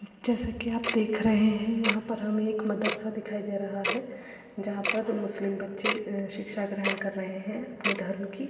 जैसा कि आप देख रह हैं यहां पर हमें एक मदरसा दिखाई दे रहा है। जहां पर मुस्लिम बच्चे अं शिक्षा ग्रहण कर रहे हैं अपने धर्म की।